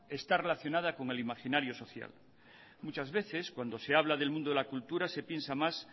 está relacionada con el imaginario social muchas veces cuando se habla del mundo de la cultura se piensa más